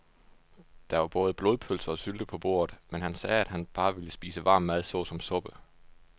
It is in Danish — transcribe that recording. Der var både blodpølse og sylte på bordet, men han sagde, at han bare ville spise varm mad såsom suppe.